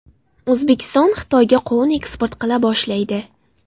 O‘zbekiston Xitoyga qovun eksport qila boshlaydi.